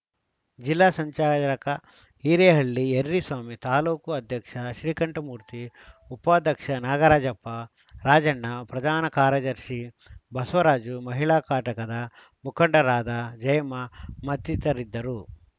ಜಿಲ್ಲಾ ಸಂಚಾಲಕ ಹಿರೇಹಳ್ಳಿ ಯರ್ರಿಸ್ವಾಮಿ ತಾಲೂಕು ಅಧ್ಯಕ್ಷ ಶ್ರೀಕಂಠಮೂರ್ತಿ ಉಪಾಧ್ಯಕ್ಷ ನಾಗರಾಜಪ್ಪ ರಾಜಣ್ಣ ಪ್ರಧಾನ ಕಾರ್ಯದರ್ಶಿ ಬಸವರಾಜು ಮಹಿಳಾ ಘಟಕದ ಮುಖಂಡರಾದ ಜಯಮ್ಮ ಮತ್ತಿತರರಿದ್ದರು